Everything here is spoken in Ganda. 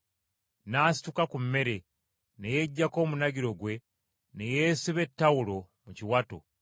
n’asituka ku mmere, ne yeggyako omunagiro gwe, ne yeesiba ettawulo mu kiwato,